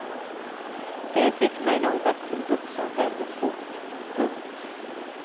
Det fick mig nog att bli vuxen väldigt fort. punkt